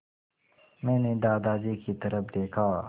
मैंने दादाजी की तरफ़ देखा